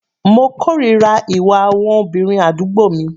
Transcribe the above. Mo kòrira ìwà àwọn obìnrin àdúgbò mi.